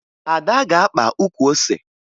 Ada ga-akpa ukwu ose